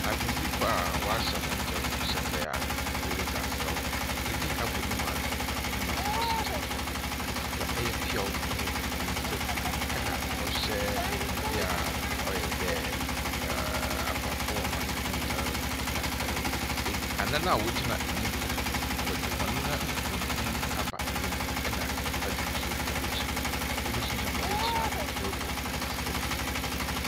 Agodzifo a wɔahyɛ wɔn ntar hyerɛpɛɛ a woridzi asaw, bi abɔ no mu na bi so gyina hɔ, wokita ɔyɛ peaa wɔ hɔn nsamu, na wɔhyɛ biribi a ɔyɛ dɛ ɛɛ akɔmfo hɔn ntar. Na ɛɛ eb anan a wɔgyina enyim no, wɔdze hɔn nan bankum aba enyim na nyimfa dze no wɔ ekyir, binom so gyina hɔ ekyir a wɔrobɔ hɔn nsamu.